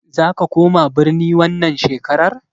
Zaka koma birni wannan shekarar?